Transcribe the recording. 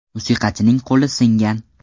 Musiqachining qo‘li singan.